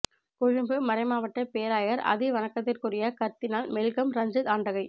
கொழும்பு மறைமாவட்ட பேராயர் அதி வணக்கத்திற்குரிய கர்தினால் மெல்கம் ரஞ்சித் ஆண்டகை